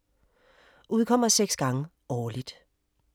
Udkommer 6 gange årligt.